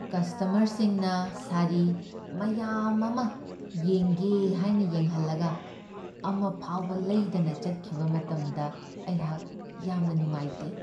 ꯀꯁꯇꯃꯔꯁꯤꯡꯅ ꯁꯥꯔꯤ ꯃꯌꯥꯝ ꯑꯃ ꯌꯦꯡꯒꯦ ꯍꯥꯏꯅ ꯌꯦꯡꯍꯜꯂꯒ ꯑꯃ ꯐꯥꯎꯕ ꯂꯩꯗꯅ ꯆꯠꯈꯤꯕ ꯃꯇꯝꯗ ꯑꯩꯍꯥꯛ ꯌꯥꯝꯅ ꯅꯨꯡꯉꯥꯏꯇꯦ ꯫